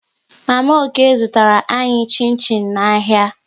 Mama Okey zụtara anyị chin chin n'ahịa